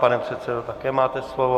Pane předsedo, také máte slovo.